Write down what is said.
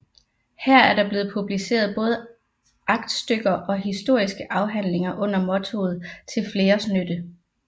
Her er der blevet publiceret både aktstykker og historiske afhandlinger under mottoet Til Fleres Nytte